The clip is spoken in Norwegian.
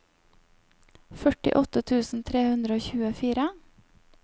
førtiåtte tusen tre hundre og tjuefire